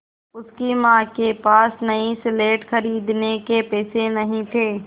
उसकी माँ के पास नई स्लेट खरीदने के पैसे नहीं थे